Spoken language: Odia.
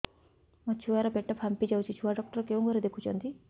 ମୋ ଛୁଆ ର ପେଟ ଫାମ୍ପି ଯାଉଛି ଛୁଆ ଡକ୍ଟର କେଉଁ ଘରେ ଦେଖୁ ଛନ୍ତି